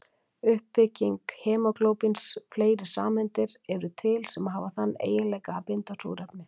Uppbygging hemóglóbíns Fleiri sameindir eru til sem hafa þann eiginleika að binda súrefni.